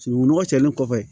Sununkun nɔgɔ cɛlen kɔfɛ